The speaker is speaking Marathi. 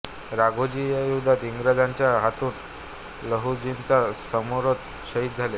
राघोजी या युद्धात इंग्रजांच्या हातून लहुजींच्या समोरच शहीद झाले